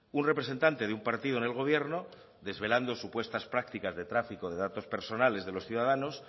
un representante de un partido en el gobierno desvelando supuestas prácticas de tráfico de datos personales de los ciudadanos